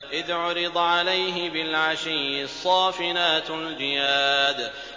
إِذْ عُرِضَ عَلَيْهِ بِالْعَشِيِّ الصَّافِنَاتُ الْجِيَادُ